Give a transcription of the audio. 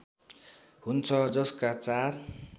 हुन्छ जसका चार